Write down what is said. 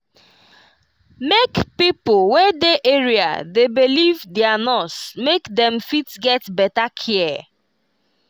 make pipo wey dey area dey believe their nurse make dem fit get better care.